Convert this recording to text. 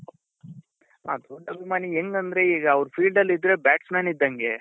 ಹ ದೊಡ್ಡ ಅಭಿಮಾನಿ ಹೆಂಗಂದ್ರೆ ಈಗ ಅವ್ರು field ಅಲ್ಲಿದ್ರೆ batsmen ಇದ್ದಂಗೆ